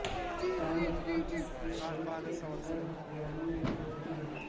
چار دفعہ اس کے پیٹ کے اندر ہتھیاروں نے زور دیا